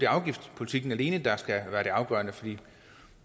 afgiftspolitikken alene der skal være det afgørende